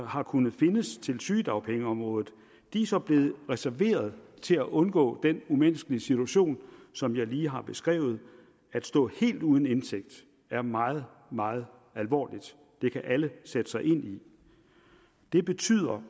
har kunnet findes til sygedagpengeområdet er så blevet reserveret til at undgå den umenneskelige situation som jeg lige har beskrevet at stå helt uden indtægt er meget meget alvorligt det kan alle sætte sig ind i det betyder